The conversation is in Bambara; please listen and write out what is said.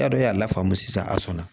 E y'a dɔn y'a la faamu sisan a sɔnna